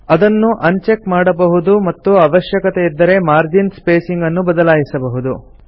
ಅದನ್ನು uncheck ಮಾಡಬಹುದು ಮತ್ತು ಅವಶ್ಯಕತೆ ಇದ್ದರೆ ಮಾರ್ಜಿನ್ ಸ್ಪೇಸಿಂಗ್ ಅನ್ನು ಬದಲಾಯಿಸಬಹುದು